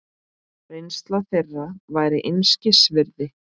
Reynsla þeirra væri einskis virði.